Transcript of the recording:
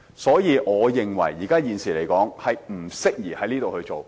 所以，我認為現時不適宜這樣做。